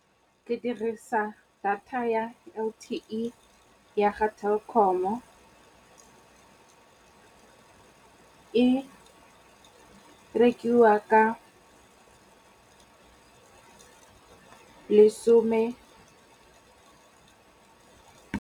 Ke dirisa data ya L_T_E ya ga Telkom. E rekiwa ka lesome.